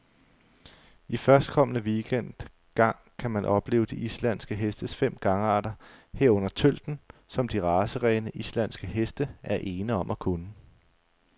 I førstkommende weekend gang kan man opleve de islandske hestes fem gangarter, herunder tølten, som de racerene, islandske heste er ene om at kunne.